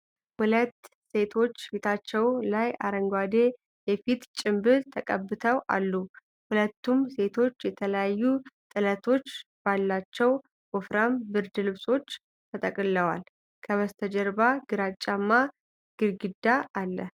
ሁለት ሴቶች ፊታቸው ላይ አረንጓዴ የፊት ጭንብል ተቀብተው አሉ። ሁለቱም ሴቶች የተለያዩ ጥለቶች ባሏቸው ወፍራም ብርድ ልብሶች ተጠቅልለዋል። ከበስተጀርባ ግራጫማ ጊርጊዳ አለ።